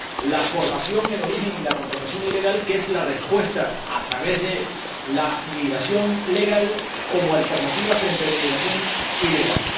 la formación en origen y la contratación ilegal, que es la respuesta a través de la migración legal, como alternativa frente a la inmigración ilegal.